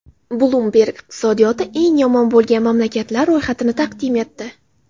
Bloomberg iqtisodiyoti eng yomon bo‘lgan mamlakatlar ro‘yxatini taqdim etdi.